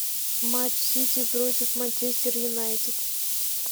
матч сити против манчестер юнайтед